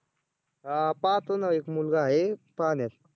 हां पाहतो ना एक मुलगा आहे पाहण्यात